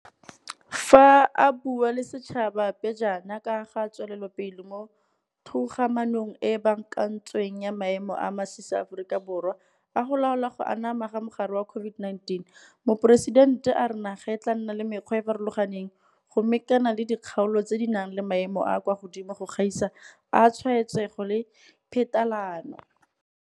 Fa a bua le setšhaba pejana ka ga tswelelopele mo togamaanong e e baakantsweng ya maemo a a masisi a Aforika Borwa a go laola go anama ga mogare wa COVID-19, Moporesitente a re naga e tla nna le mekgwa e e farologaneng go mekana le dikgaolo tse di nang le maemo a a kwa godimo go gaisa a tshwaetsego le phetalano.